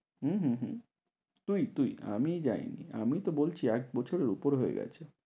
হম হম হম তুই তুই আমি যায়নি, আমি তো বলছি একবছরের উপর হয়ে গেছে।